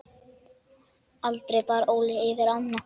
Aldrei bar Óli yfir ána.